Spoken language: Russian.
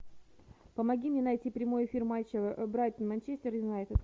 помоги мне найти прямой эфир матча брайтон манчестер юнайтед